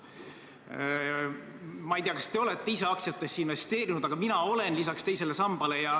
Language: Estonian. Ma ei tea, kas te olete ise aktsiatesse investeerinud, aga mina olen, lisaks teisele sambale.